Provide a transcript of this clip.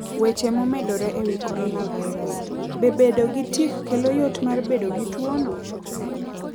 Weche momedore e wi Coronavirus: Be bedo gi tik kelo yot mar bedo gi tuwono.?